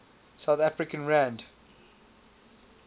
south african rand